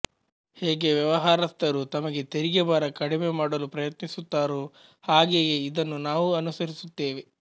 ಹೇಗೆ ವ್ಯವಹಾರಸ್ಥರು ತಮ್ಮ ತೆರಿಗೆ ಭಾರ ಕಡಿಮೆ ಮಾಡಲು ಪ್ರಯತ್ನಿಸುತ್ತಾರೋ ಹಾಗೆಯೇ ಇದನ್ನು ನಾವೂ ಅನುಸರಿಸುತ್ತೇವೆ